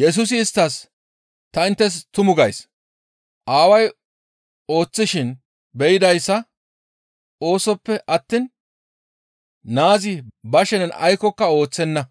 Yesusi isttas, «Ta inttes tumu gays; Aaway ooththishin be7idayssa oosoppe attiin naazi ba shenen aykkoka ooththenna.